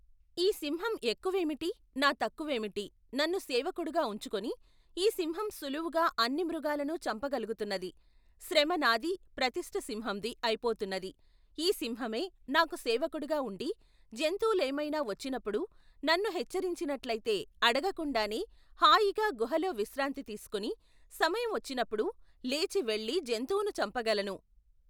ఈ సింహం ఎక్కువేమిటి నా తక్కువేమిటి నన్ను సేవకుడుగా ఉంచుకొని, ఈ సింహం సులువుగా అన్ని మృగాలనూ చంప గలుగుతున్నది, శ్రమ నాదీ ప్రతిష్ఠ సింహందీ అయిపోతున్నది ఈ సింహమే, నాకు సేవకుడుగా ఉండి జంతువులేమైనా వచ్చినప్పుడు నన్ను హెచ్చరించినట్లయితే అడగకుండానే హాయిగా గుహలో విశ్రాంతి తీసుకొని సమయం వచ్చినప్పుడు లేచివెళ్లి జంతువును చంపగలను.